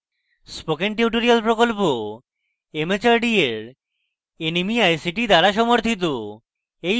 spoken tutorial project Bharat সরকারের mhrd এর nmeict দ্বারা সমর্থিত